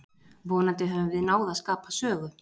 Vonandi höfum við náð að skapa sögu.